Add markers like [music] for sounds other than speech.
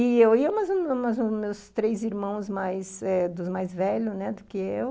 E eu ia, mas [unintelligible] mais os meus três irmãos mais eh, dos mais velhos, né, do que eu.